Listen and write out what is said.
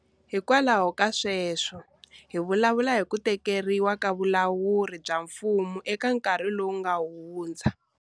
Hikwalaho ka sweswo hi vulavula hi ku tekiwa ka vulawuri bya mfumo eka nkarhi lowu nga hundza.